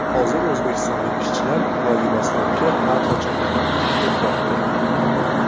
Hozir O‘zbekistonlik ishchilar Vladivostokka har qachongidan ham ko‘proq kerak.